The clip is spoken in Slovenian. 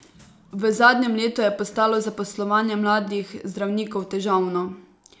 V zadnjem letu je postalo zaposlovanje mladih zdravnikov težavno.